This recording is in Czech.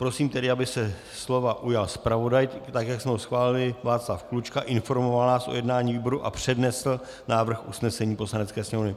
Prosím tedy, aby se slova ujal zpravodaj tak, jak jsme ho schválili, Václav Klučka, informoval nás o jednání výboru a přednesl návrh usnesení Poslanecké sněmovny.